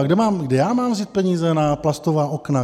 A kde já mám vzít peníze na plastová okna?